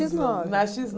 Na xis nove?